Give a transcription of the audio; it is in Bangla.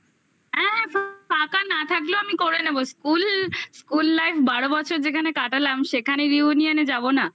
হ্যাঁ ফাঁকা না থাকলেও আমি করে নেবো school school life বারো বছর যেখানে কাটালাম সেখানের reunion এ যাবো না?